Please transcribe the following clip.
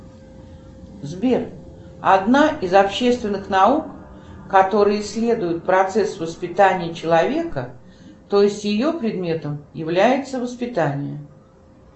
сбер одна из общественных наук которая исследует процесс воспитания человека то есть ее предметом является воспитание